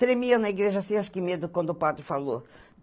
Tremia na igreja, assim, acho que medo, quando o padre falou.